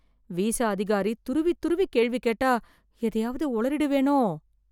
Visa அதிகாரி துருவி துருவி கேள்வி கேட்டா எதையாவது ஒளறிடுவேனோ!